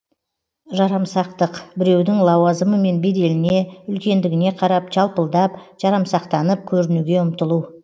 жарамсақтық біреудің лауазымы мен беделіне үлкендігіне қарап жалпылдап жарамсақтанып көрінуге ұмтылу